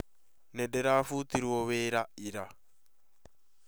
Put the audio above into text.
Nĩ ndirafutirwo wĩra ira